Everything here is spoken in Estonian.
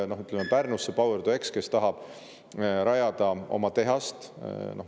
Ütleme, et Power2X tahab Pärnusse rajada oma tehast.